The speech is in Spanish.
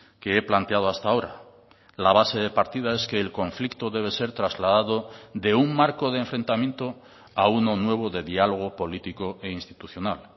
que he planteado hasta ahora la base de partida es que el conflicto debe ser trasladado de un marco de enfrentamiento a uno nuevo de diálogo político e institucional